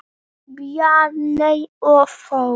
Bjarney og Þór.